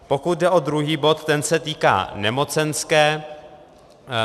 Pokud jde o druhý bod, ten se týká nemocenské.